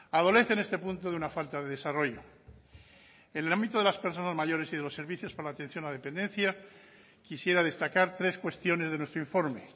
adolece en este punto de una falta de desarrollo en el ámbito de las personas mayores y los servicios para la atención a la dependencia quisiera destacar tres cuestiones de nuestro informe